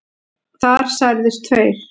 Þar særðust tveir